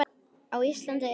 Á Íslandi eru um